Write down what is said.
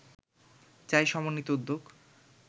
চাই সমন্বিত উদ্যোগ